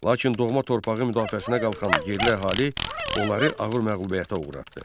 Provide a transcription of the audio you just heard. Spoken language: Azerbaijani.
Lakin doğma torpağı müdafiəsinə qalxan yerli əhali onları ağır məğlubiyyətə uğratdı.